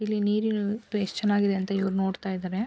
ಇಲ್ಲಿ ನೀರಿರುವುದು ಎಷ್ಟು ಚೆನ್ನಾಗಿದೆ ಅಂತ ಇವರು ನೋಡ್ತಾ ಇದ್ದಾರೆ.